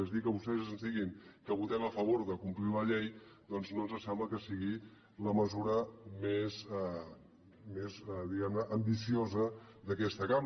és a dir que vostès ens diguin que votem a favor de complir la llei doncs no ens sembla que sigui la mesura més diguem ne ambiciosa d’aquesta cambra